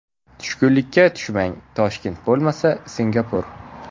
Tushkunlikka tushmang, Toshkent bo‘lmasa Singapur!